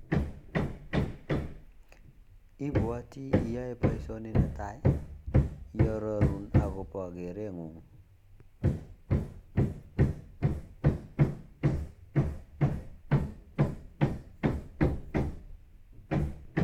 Ipwatii iaee paishoni netai kiharorun akopa keren ngung